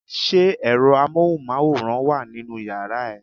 Ṣé ẹ̀rọ amóhùnmáwòrán wà nínú yàrá ẹ?